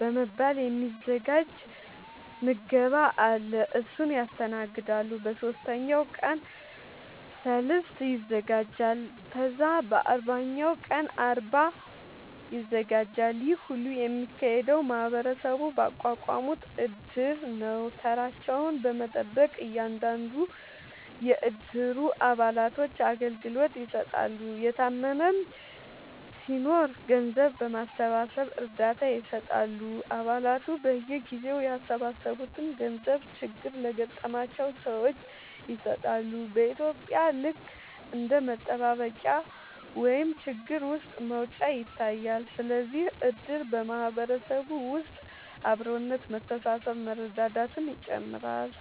በመባል የ ሚዘጋጅ ምገባ አለ እሱን ያስተናግዳሉ በ ሶስተኛው ቀን ሰልስት ይዘጋጃል ከዛ በ አርባኛው ቀን አርባ ይዘጋጃል ይሄ ሁሉ የሚካሄደው ማህበረሰቡ ባቋቋሙት እድር ነው ተራቸውን በመጠበቅ እያንዳንዱን የ እድሩ አባላቶች አገልግሎት ይሰጣሉ የታመመም ሲናኖር ገንዘብ በማሰባሰብ እርዳታ ይሰጣሉ አ ባላቱ በየጊዜው ያሰባሰቡትን ገንዘብ ችግር ለገጠማቸው ሰዎች ይሰጣሉ በ ኢትዩጵያ ልክ እንደ መጠባበቂያ ወይም ችግር ውስጥ መውጫ ይታያል ስለዚህም እድር በ ማህበረሰብ ውስጥ አብሮነት መተሳሰብ መረዳዳትን ይጨምራል